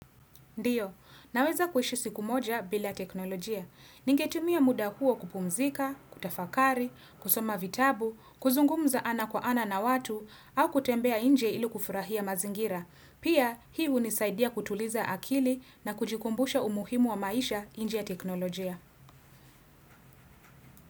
Ndiyo, naweza kuhishi siku moja bila teknolojia. Ningetumia muda huo kupumzika, kutafakari, kusoma vitabu, kuzungumza ana kwa ana na watu, au kutembea nje ilu kufurahia mazingira. Pia, hii ni hunisaidia kutuliza akili na kujikumbusha umuhimu wa maisha nje ya teknolojia.